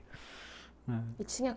E tinha